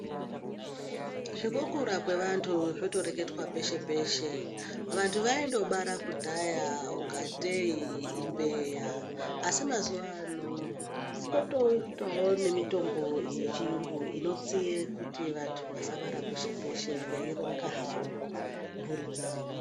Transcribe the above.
Zvekukura kwevantu zvotoreketwa peshe peshe, vantu vaindobara kudhaya ngatei imbeya asi mazuva ano potoitawo nemitombo yechiyungu inotsiye kuti vantu vasabara peshe peshe veironga havo mburi dzavo.